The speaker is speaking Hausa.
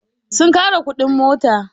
Sun ƙara kuɗin mota.